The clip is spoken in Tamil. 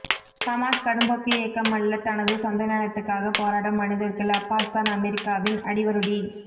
ஹமாஸ் கடும்போக்கு இயக்கம் அல்ல தனது சொந்த நிலத்துக்காக போராடும் மணிதர்கள் அப்பாஸ்தான் அமெரிக்காவின் அடிவருடி